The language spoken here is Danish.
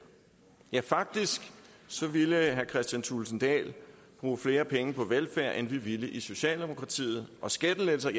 ja faktisk ville herre kristian thulesen dahl bruge flere penge på velfærd end vi ville i socialdemokratiet og skattelettelser